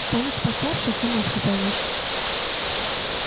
станешь постарше сама все поймёшь